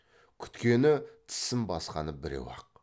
күткені тісін басқаны біреу ақ